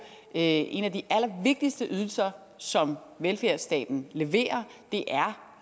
en af de allervigtigste ydelser som velfærdsstaten leverer